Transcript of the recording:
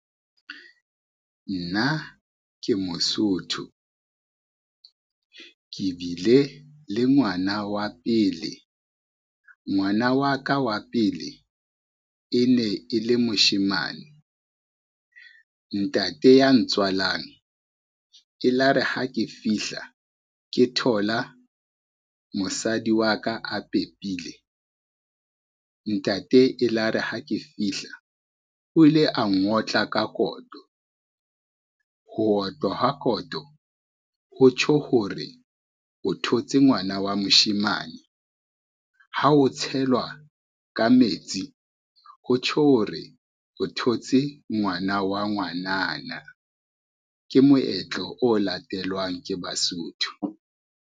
Nna ke Mosotho, ke bile le ngwana wa pele. Ngwana wa ka wa pele e ne e le moshemane, ntate ya ntswalang elare ha ke fihla ke thola mosadi wa ka a pepile, ntate elare ha ke fihla o ile a ngotla ka koto. Ho otlwa ha koto ho tjho hore o thotse ngwana wa moshemane, ha ho tshelwa ka metsi, ho tjho hore o thotse ngwana wa ngwanana. Ke moetlo o latelwang ke Basotho.